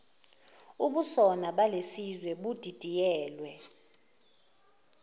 ubusona balesizwe budidiyelwe